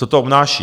Co to obnáší?